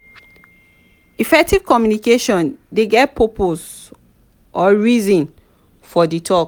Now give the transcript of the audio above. effective communication de get purpose or reason for di talk